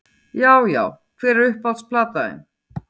Já Já Hver er uppáhalds platan þín?